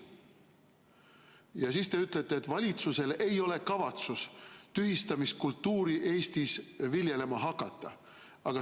Ja siis te ütlete, et valitsusel ei ole kavatsust tühistamiskultuuri Eestis viljelema hakata.